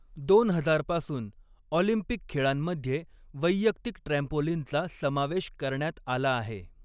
दोन हजार पासून, ऑलिम्पिक खेळांमध्ये वैयक्तिक ट्रॅम्पोलिनचा समावेश करण्यात आला आहे.